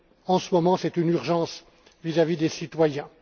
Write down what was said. En ce moment, c'est une urgence vis à vis des citoyens.